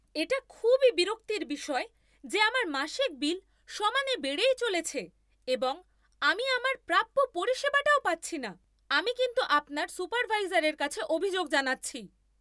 এটা খুবই বিরক্তির বিষয় যে আমার মাসিক বিল সমানে বেড়েই চলেছে এবং আমি আমার প্রাপ্য পরিষেবাটাও পাচ্ছি না। আমি কিন্তু আপনার সুপারভাইজারের কাছে অভিযোগ জানাচ্ছি।